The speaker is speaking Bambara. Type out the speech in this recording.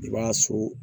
I b'a so